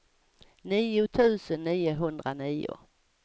nio tusen niohundranio